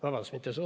Vabandust!